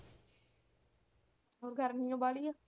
ਗਰਮੀ ਓ ਬਾਹਲੀ ਆ।